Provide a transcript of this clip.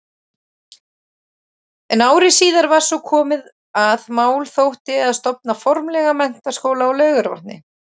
En ári síðar var svo komið, að mál þótti að stofna formlega menntaskóla á Laugarvatni.